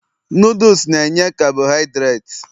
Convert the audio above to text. noodles na enye carbohidirati